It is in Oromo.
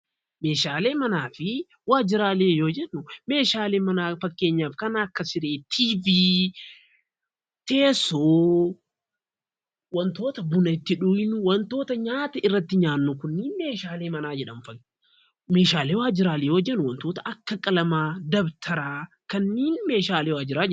Meeshaalee manaafi waajiiraalee yoo jenu, meeshaalee manaa faakkenyaaf kan akka Sirree, TV, Teessoo, wantoota Buunaa itti dhugnuu, waantoota nyaataa itti nyaannu kunnen meeshaalee manaa jedhamuu. Meeshaalee waajiiraalee yeroo jenu meeshaalee akka Qaalamaa, Dabtara kannen meeshaalee waajiiraleetti.